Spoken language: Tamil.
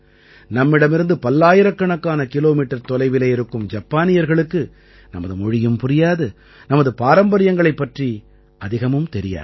நம்மிடமிருந்து பல்லாயிரக்கணக்கான கிலோமீட்டர் தொலைவிலே இருக்கும் ஜப்பானியர்களுக்கு நமது மொழியும் புரியாது நமது பாரம்பரியங்களைப் பற்றியும் அதிகம் தெரியாது